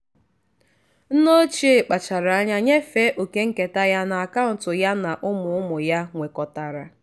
nne ochie kpachara anya nyefee oke nketa ya n'akaụntụ ya na ụmụ ụmụ ya nwekọtara.